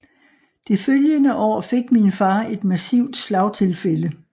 Det følgende år fik min far et massivt slagtilfælde